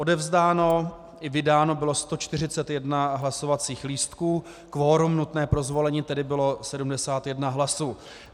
Odevzdáno i vydáno bylo 141 hlasovacích lístků, kvorum nutné pro zvolení tedy bylo 71 hlasů.